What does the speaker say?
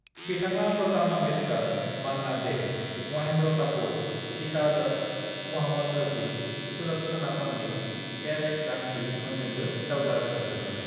"बिथाङा लता मंगेशकार, मन्ना डे, महेंद्र कपूर, गीता दत्त, मोहम्मद रफी, सुलक्षणा पंडित, एस जानकी मोनजोंबो जावजा रोजाबदोंमोन।"